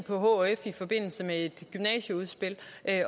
på hf i forbindelse med et gymnasieudspil